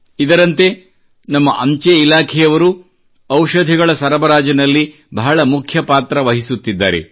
ಇದರಂತೆ ನಮ್ಮ ಅಂಚೆ ಇಲಾಖೆಯವರು ಔಷಧಿಗಳ ಸರಬರಾಜಿನಲ್ಲಿ ಬಹಳ ಮುಖ್ಯ ಪಾತ್ರ ವಹಿಸುತ್ತಿದ್ದಾರೆ